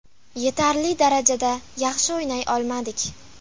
Yetarli darajada yaxshi o‘ynay olmadik.